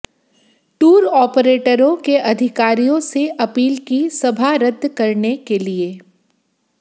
tour ऑपरेटरों के अधिकारियों से अपील की सभा रद्द करने के लिए